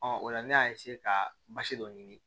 o la ne y'a ka basi dɔ ɲini